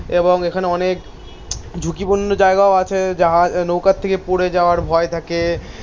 এবং এখানে অনেক ঝুঁকিপূর্ণ জায়গাও আছে. জাহানৌকার থেকে পড়ে যাওয়ার ভয় থাকে,